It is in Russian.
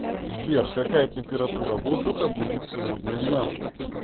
сбер какая температура воздуха будет сегодня на